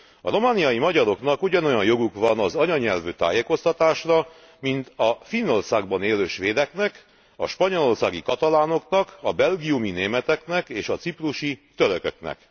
A romániai magyaroknak ugyanolyan joguk van az anyanyelvű tájékoztatásra, mint a Finnországban élő svédeknek, a spanyolországi katalánoknak, a belgiumi németeknek és a ciprusi törököknek.